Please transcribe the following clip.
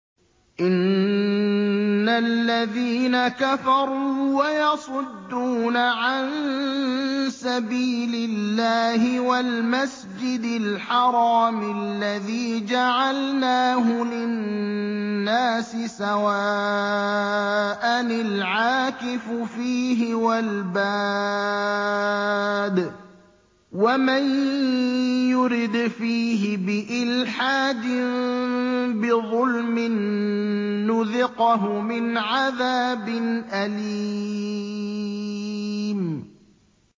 إِنَّ الَّذِينَ كَفَرُوا وَيَصُدُّونَ عَن سَبِيلِ اللَّهِ وَالْمَسْجِدِ الْحَرَامِ الَّذِي جَعَلْنَاهُ لِلنَّاسِ سَوَاءً الْعَاكِفُ فِيهِ وَالْبَادِ ۚ وَمَن يُرِدْ فِيهِ بِإِلْحَادٍ بِظُلْمٍ نُّذِقْهُ مِنْ عَذَابٍ أَلِيمٍ